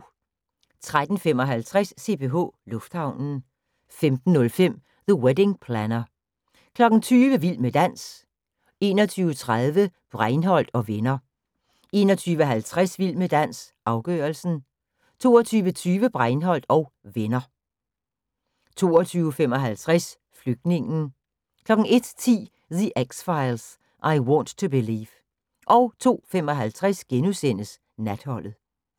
13:55: CPH Lufthavnen 15:05: The Wedding Planner 20:00: Vild med dans 21:30: Breinholt & Venner 21:50: Vild med dans – afgørelsen 22:20: Breinholt & Venner 22:55: Flygtningen 01:10: The X Files: I Want to Believe 02:55: Natholdet *